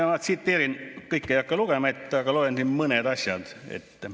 Ma kõike ei hakka ette lugema, loen mõned asjad.